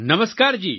નમસ્કાર જી